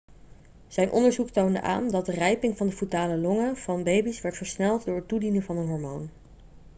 zijn onderzoek toonde aan dat de rijping van de foetale longen van baby's werd versneld door het toedienen van een hormoon